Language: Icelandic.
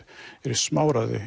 eru smáræði